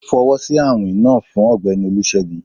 O fọwọsi awin naa fun Ọgbẹni olusegun